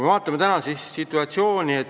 Vaatame tänast situatsiooni.